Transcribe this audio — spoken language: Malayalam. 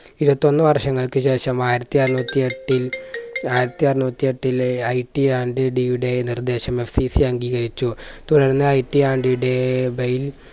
ഇരുപത്തൊന്ന് വർഷങ്ങൾക്ക് ശേഷം ആയിരത്തി അറുന്നൂറ്റി എട്ടിൽ ആയിരത്തി അറുന്നൂറ്റി എട്ടിലെ IT and d യുടെ നിർദ്ദേശം FCC അംഗീകരിച്ചു. തുടർന്ന് IT and day by യിൽ